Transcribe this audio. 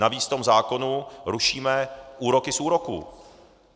Navíc v tom zákonu rušíme úroky z úroků.